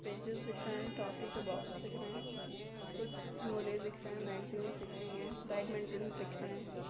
Pages दिख रहे हैं टॉफी के बोक्सेस दिख रहे हैं कुछ झोले दिख रहे हैं मेगजीन्स दिख रही हैं बैडमिंटनस दिख रहे हैं।